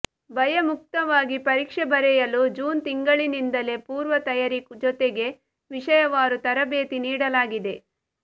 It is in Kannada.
ಭಯಮುಕ್ತವಾಗಿ ಪರೀಕ್ಷೆ ಬರೆಯಲು ಜೂನ್ ತಿಂಗಳಿನಿಂದಲೇ ಪೂರ್ವ ತಯಾರಿ ಜೊತೆಗೆ ವಿಷಯವಾರು ತರಬೇತಿ ನೀಡಲಾಗಿದೆ